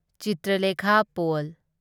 Chitralekha pol